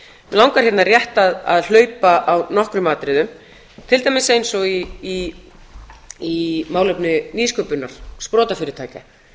langar hérna rétt að hlaupa á nokkrum atriðum til dæmis eins og í málefni nýsköpunar sprotafyrirtækja